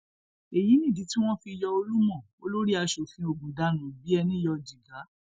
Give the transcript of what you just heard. èyí nìdí tí wọn fi yọ olúmọ olórí asòfin ogun dànù bíi ẹni yọ jìgá